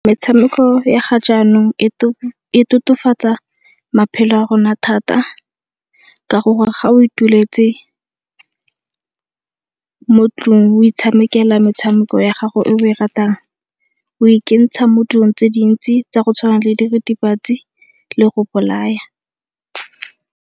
Metshameko ya ga jaanong e tokafatsa maphelo a rona thata ka gore ga o ituletse mo tlong o itshamekela metshameko ya gago e o e ratang o ikentsha mo dilong tse dintsi tsa go tshwana le diritibatsi le go bolaya.